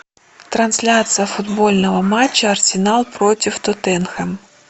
трансляция футбольного матча арсенал против тоттенхэм